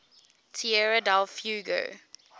tierra del fuego